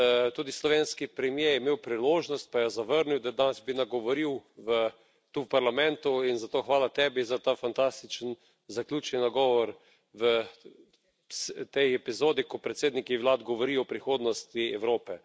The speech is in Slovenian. Tudi slovenski premier je imel priložnost, pa jo zavrnil, da bi danes nagovoril tu v Parlamentu, in zato hvala tebi za ta fantastični zaključni nagovor v tej epizodi, ko predsedniki vlad govorijo o prihodnosti Evrope.